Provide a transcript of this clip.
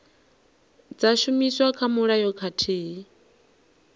dza shumiswa kha mulayo khathihi